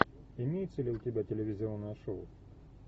имеется ли у тебя телевизионное шоу